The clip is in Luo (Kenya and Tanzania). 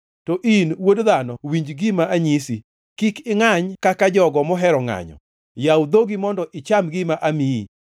To in, wuod dhano winj gima anyisi. Kik ingʼany kaka jogo mohero ngʼanyo; yaw dhogi mondo icham gima amiyi.”